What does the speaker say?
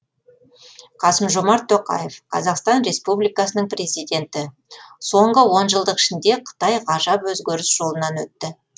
қасым жомарт тоқаев қазақстан республикасының президенті соңғы онжылдық ішінде қытай ғажап өзгеріс жолынан өтті